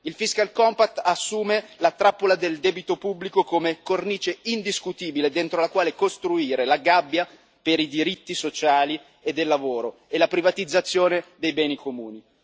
Il fiscal compact assume la trappola del debito unico come cornice indiscutibile entro la quale costruire la gabbia per i diritti sociali e del lavoro e la privatizzazione dei beni comuni.